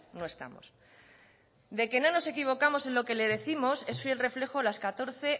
no estamos de que no nos equivocamos en lo que le décimos es fiel reflejo las catorce